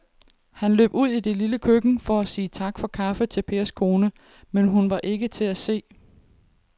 Han løb ud i det lille køkken for at sige tak for kaffe til Pers kone, men hun var ikke til at se.